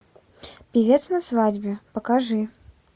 певец на свадьбе покажи